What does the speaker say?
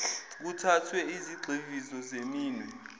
kuthathwe izigxivizo zeminwe